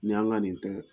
Ni an ka nin tɛ